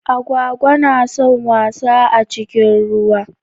Agwagwa na son wasa a cikin ruwa.